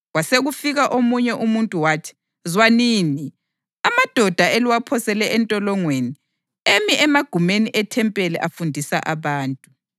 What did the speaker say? Kwasekufika omunye umuntu wathi, “Zwanini! Amadoda eliwaphosele entolongweni emi emagumeni ethempeli afundisa abantu.”